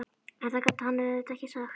En það gat hann auðvitað ekki sagt.